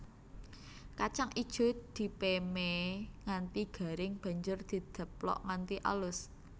Kacang ijo dipémé nganti garing banjur dideplok nganti alus